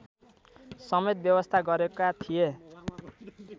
समेत व्यवस्था गरेका थिए